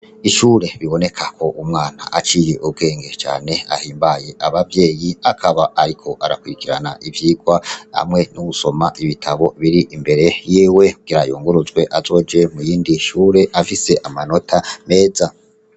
Ishure biboneka ko umwana aciye ubwenge cane ahimbaye abavyeyi akaba ariko arakurikirana ivyigwa hamwe n'ugusoma ibitabo biri imbere yiwe kugira yunguruzwe azoje muyindi shure afise amanota meza.